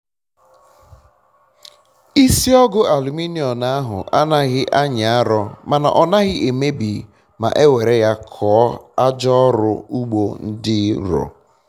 um isi ọgụ aluminom ahụ anaghị anyi arọ mana ọ naghị emebi ma ewere ya um kụọ aja ọrụ ugbo dị nrọ